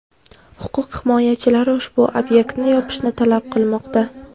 Huquq himoyachilari ushbu obyektni yopishni talab qilmoqda.